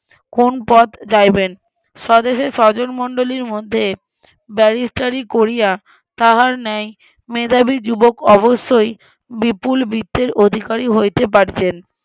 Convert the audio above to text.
কোন পথ যাইবেন? স্বদেশের স্বজনমণ্ডলীর মধ্যে ব্যারিস্টারি করিয়া তাহার ন্যায় মেধাবী যুবক অবশ্যই বিপুল বৃত্তের অধিকারি হইতে পারিতেন